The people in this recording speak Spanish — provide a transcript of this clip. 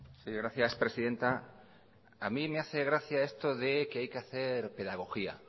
sí gracias presidenta a mí me hace gracia esto de que hay que hacer pedagogía